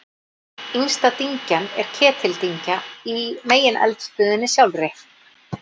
Yngsta dyngjan er Ketildyngja í megineldstöðinni sjálfri.